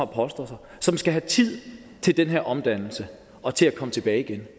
poster og som skal have tid til denne omdannelse og til at komme tilbage igen